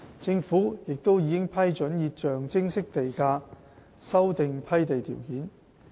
政府亦已批准以象徵式地價修訂批地條件。